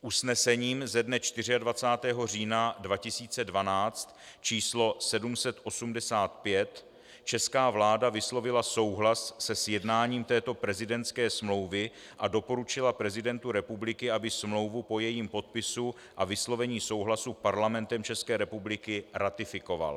Usnesením ze dne 24. října 2012 číslo 785 česká vláda vyslovila souhlas se sjednáním této prezidentské smlouvy a doporučila prezidentu republiky, aby smlouvu po jejím podpisu a vyslovení souhlasu Parlamentem České republiky ratifikoval.